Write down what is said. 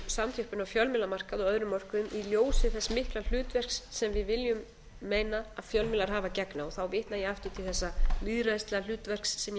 á fjölmiðlamarkaði og öðrum mörkuðum í ljósi þess mikla hlutverks sem við viljum meina að fjölmiðlar hafi að gegna og þá vitna ég aftur til þessa lýðræðislega hlutverks sem ég